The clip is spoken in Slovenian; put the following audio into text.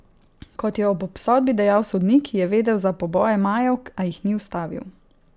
Kot je ob obsodbi dejal sodnik, je vedel za poboje Majev, a jih ni ustavil.